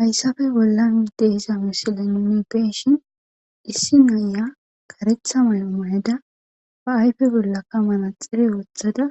Hayssappe bollan diza misiley nun beyishin Issi nay kareththa mayo mayida ba ayfe bolaka manaxera woththida